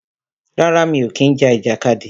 Rárá, mi ò kí ń ja ìjàkadì.